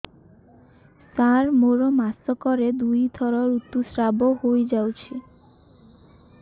ସାର ମୋର ମାସକରେ ଦୁଇଥର ଋତୁସ୍ରାବ ହୋଇଯାଉଛି